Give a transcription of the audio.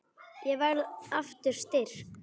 Ég verð aftur styrk.